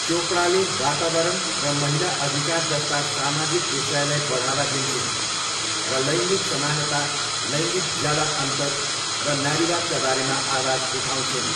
चोपडाले वातावरण र महिला अधिकार जस्ता सामाजिक विषयलाई बढावा दिन्छिन्, र लैङ्गिक समानता, लैङ्गिक ज्याला अन्तर र नारीवादका बारेमा आवाज उठाउँछिन्।